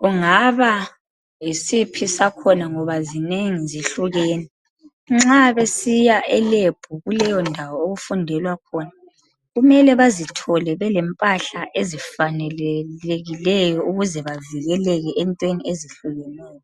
Kungaba yisiphi sakhona ngoba zinengi zihlukene. Nxa besiya elab kuleyo ndawo okufundelwa khona, kumele bazithole belempahla ezifanekelikeyo ukuze bavikeleke entweni ezihlukeneyo.